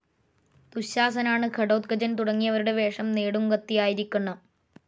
ദുശാസനാണ്, ഘടോത്കചൻ, തുടങ്ങിയവരുടെ വേഷം നേടുംകത്തിയായിരിക്കണം.